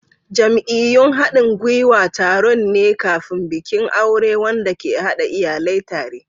Jam'iyyun haɗin gwiwa taron ne kafin bikin aure wanda ke haɗa iyalai tare.